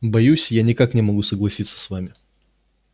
боюсь я никак не могу согласиться с вами